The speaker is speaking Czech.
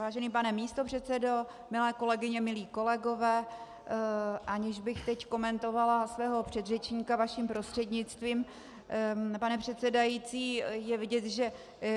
Vážený pane místopředsedo, milé kolegyně, milí kolegové, aniž bych teď komentovala svého předřečníka, vaším prostřednictvím, pane předsedající, je vidět, že